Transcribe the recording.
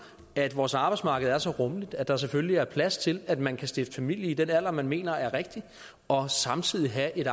at vores arbejdsmarked er så rummeligt at der selvfølgelig er plads til at man kan stifte familie i den alder man mener er rigtig og samtidig have et